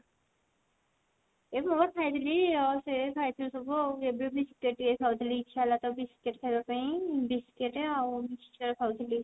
ଏ ବହୁତ ଖାଇଥିଲି ସେ ଖାଇଥିଲି ସବୁ ଆଉ ଏବେ biscuit ଟିକେ ଖାଉଥିଲି ଇଛା ହେଲା ତ biscuit ଖାଇବା ପାଇଁ biscuit ଆଉ mixture ଖାଉଥିଲି